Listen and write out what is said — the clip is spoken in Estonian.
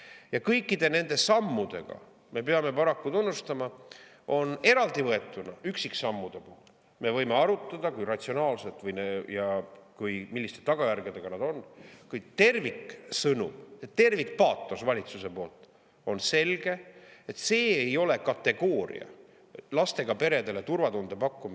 Ja kõikide nende sammudega, me peame paraku tunnistama, on nii, et eraldi võetuna, üksiksammude puhul me võime arutada, kui ratsionaalsed ja milliste tagajärgedega need on, kuid valitsuse terviksõnum, tervikpaatos on selge: lastega peredele turvatunde pakkumine ei ole kategooria,.